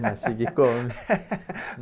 Mastiga e come.